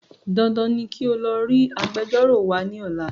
Dandan ni kí o lọ rí Agbẹjọ́rò wa ní ọ̀la